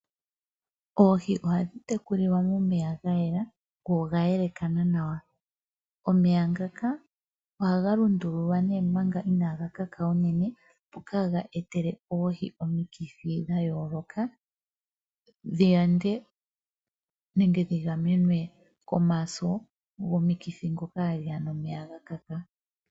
Oohi ohadhi tekulilwa momeya ga yela go oga yelekana nawa. Omeya ngaka ohaga lundululwa omanga inaaga luudha unene opo kaaga etele oohi omikithi dha yooloka dhi yande nenge dhi gamenwe komaso gomikithi ndhoka hadhi ya nomeya ga luudha.